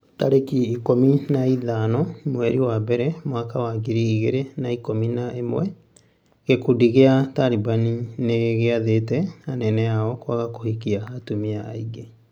tarĩki ikũmi na ithano mweri wa mbere mwaka wa ngiri igĩrĩ na ikũmi na ĩmwe gĩkundi gĩa Taliban nĩgĩathĩte anene ao kwaga kũhikia atumia aingĩ.